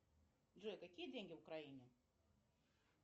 джой какие деньги в украине